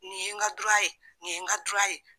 Nin ye n ka ye nin ye n ka ye.